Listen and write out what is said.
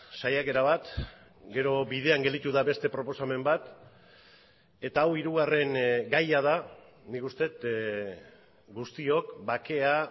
saiakera bat gero bidean gelditu da beste proposamen bat eta hau hirugarren gaia da nik uste dut guztiok bakea